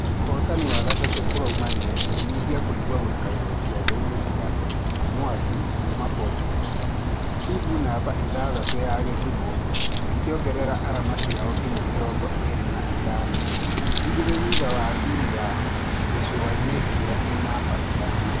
Ũhotani wa gatatũ ũrũmanĩrĩire ũkĩnyihia kũigua gũikarĩrwo cĩade-inĩ cĩa .....mwangi kuuma portugal , timũ namba ithathatũ ya gĩthumũ ĩkĩongerera arama cĩao nginya mĩrongo ĩrĩ na ithano igĩrĩ thutha wa timũ ya bahari ĩrĩa e namba ithano.